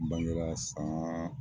Bangera san